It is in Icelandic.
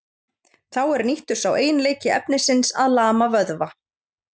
Þá er nýttur sá eiginleiki efnisins að lama vöðva.